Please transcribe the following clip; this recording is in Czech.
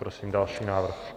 Prosím další návrh.